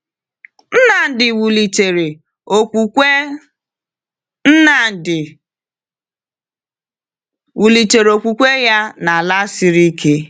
Nnamdi wulitere okwukwe Nnamdi wulitere okwukwe ya n’ala siri ike.